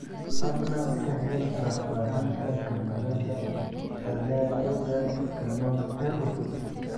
fadlan ka hel faahfaahinta kamarada fallaagada canon ee cusub